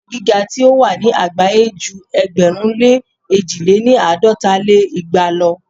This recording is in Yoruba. Ilé-ẹ̀kọ́ gíga tí o wà ni àgbáyé ju ẹgbẹ̀rún lé èjì lé ní àádọ́ta lé igba lo.